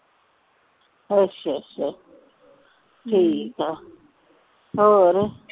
ਅੱਛਾ ਅੱਛਾ ਠੀਕ ਆ ਹੋਰ